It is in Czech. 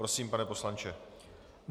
Prosím, pane poslanče.